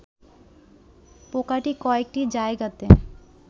পোকাটি কয়েকটি জায়গাতে